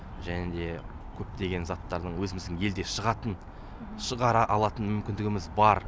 және де көптеген заттардың өзіміздің елде шығатын шығара алатын мүмкіндігіміз бар